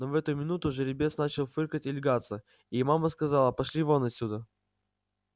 но в эту минуту жеребец начал фыркать и лягаться и мама сказала пошли вон отсюда